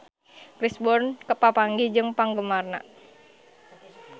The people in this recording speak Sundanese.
Chris Brown papanggih jeung penggemarna